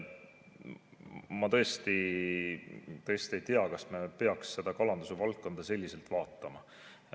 Ma tõesti ei tea, kas me peaksime kalanduse valdkonda selliselt vaatama.